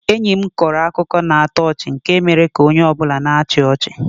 Enyi mkọrọ akụkọ na-atọ ọchị nke mere ka onye ọ bụla na-achị ọchị.